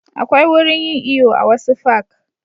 Akwai wurin yin iyo a wasu fak